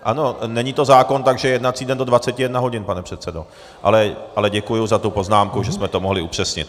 Ano, není to zákon, takže jednací den do 21 hodin, pane předsedo, ale děkuji za tu poznámku, že jsme to mohli upřesnit.